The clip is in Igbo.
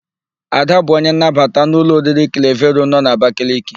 Ada bụ onye nnabata n'ụlọ oriri Klevero nọ n'Abakaliki.